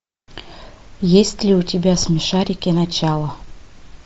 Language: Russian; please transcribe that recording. есть ли у тебя смешарики начало